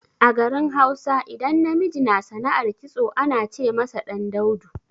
A garin Hausa, idan namiji na sana'ar kitso ana ce masa ɗan daudu.